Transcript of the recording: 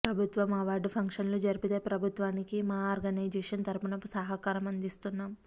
ప్రబుత్వం అవార్డు ఫంక్షన్లు జరిపితే ప్రబుత్వానికి మా ఆర్గనైజేషన్ తరుపున సహకారం అందిస్తున్నాం